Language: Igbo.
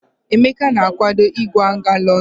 Emeka na-akwado ịkwaga London.